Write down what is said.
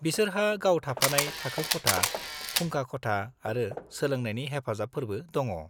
बिसोरहा गाव-थाफानाय थाखो खथा, फुंखा खथा आरो सोलोंनायनि हेफाजाबफोरबो दङ।